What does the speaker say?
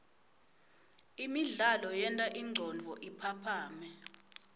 imidlalo yenta ingcondvo iphaphame